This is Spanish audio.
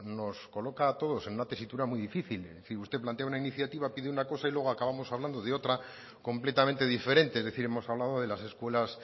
nos coloca a todos en una tesitura muy difícil usted plantea una iniciativa pide una cosa y luego acabamos hablando de otra completamente diferente es decir hemos hablado de las escuelas